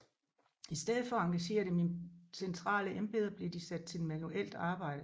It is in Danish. I stedet for at engagere dem i centrale embeder blev de sat til manuelt arbejde